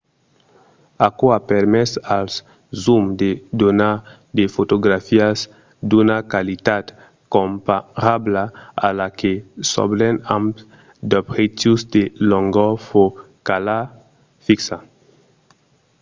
aquò a permés als zooms de donar de fotografias d’una qualitat comparabla a la que s’obten amb d’objectius de longor focala fixa